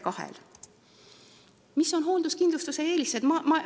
Mis on hoolduskindlustuse eelised?